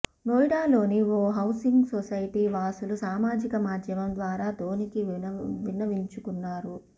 నోయిడాలోని ఓ housing society వాసులు సామాజిక మాద్యమం ద్వారా ధోనీకి విన్నవించుకున్నారు